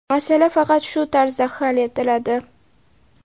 Masala faqat shu tarzda hal etiladi.